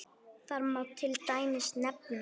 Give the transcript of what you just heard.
Þar má til dæmis nefna